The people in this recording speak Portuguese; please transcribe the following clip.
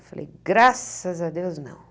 Eu falei, graças a Deus, não.